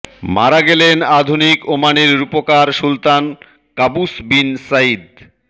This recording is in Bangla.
মারা গেলেন আধুনিক ওমানের রূপকার সুলতান কাবুস বিন সাঈদ